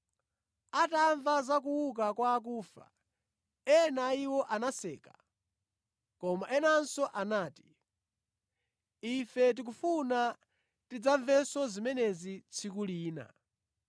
Atamva za kuuka kwa akufa, ena a iwo anaseka, koma enanso anati, “Ife tikufuna tidzamvenso zimenezi tsiku lina.”